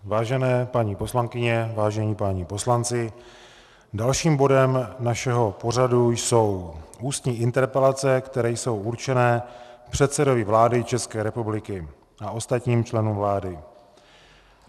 Vážené paní poslankyně, vážení páni poslanci, dalším bodem našeho pořadu jsou ústní interpelace, které jsou určené předsedovi vlády České republiky a ostatním členům vlády.